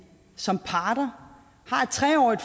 som parter har et tre årig